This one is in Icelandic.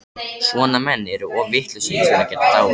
Svona menn eru of vitlausir til að geta dáið.